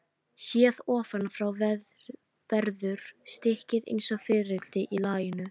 Séð ofan frá verður stykkið eins og fiðrildi í laginu.